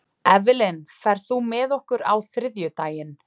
Evelyn, ferð þú með okkur á þriðjudaginn?